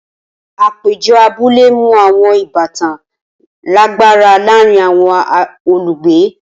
Apejọ abule mu awọn ibatan lagbara laarin awọn olugbe.